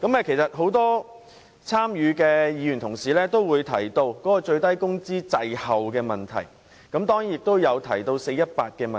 其實，很多參與討論的委員均提到最低工資滯後及 "4-18" 的問題。